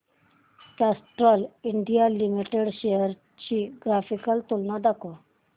Castrol India Limited shares ची graphical तुलना दाखव